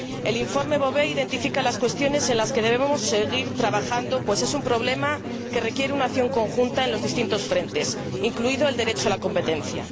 El informe Bové identifica las cuestiones en las que debemos seguir trabajando, pues se trata de un problema que requiere una acción conjunta en los distintos frentes, incluido el derecho a la competencia.